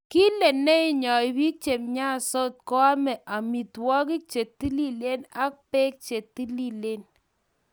Kile chito neinyoi biik chemnyansot koame amitwogik chetililen ak beek chetililen